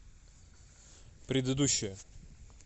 предыдущая